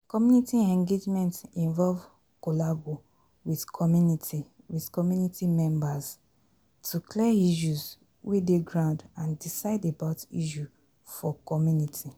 Community engagement involve collabo with community with community memebrs to clear issues wey dey ground and decide about issue for community